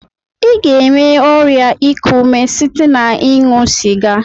I ga-enwe ọrịa ịkụ ume site na-ịṅụ sịga.